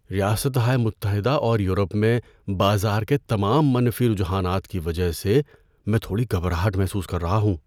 ریاستہائے متحدہ اور یورپ میں بازار کے تمام منفی رجحانات کی وجہ سے میں تھوڑی گھبراہٹ محسوس کر رہا ہوں۔